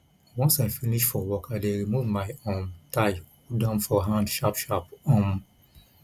once i finish for work i dey remove my um tie hold am for hand sharpsharp um